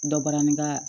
Dɔ barani ka